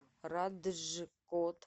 раджкот